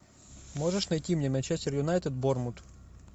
можешь найти мне манчестер юнайтед борнмут